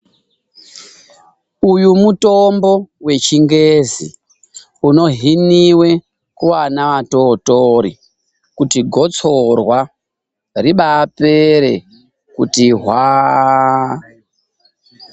Uyu mutombo wechingezi, unohhiniwe kuwana wadodori, kuti gotsorwa ribapere kuti hwaaaa.